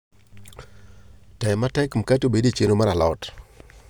tem matek mkate obedi e chenro mar a lot